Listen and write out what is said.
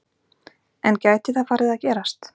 En gæti það farið að gerast?